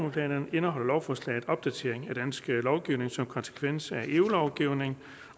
indeholder lovforslaget en opdatering af dansk lovgivning som konsekvens af eu lovgivning